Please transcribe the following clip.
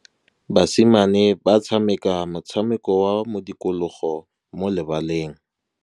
Basimane ba tshameka motshameko wa modikologô mo lebaleng.